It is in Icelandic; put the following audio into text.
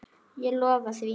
Ég lofaði því.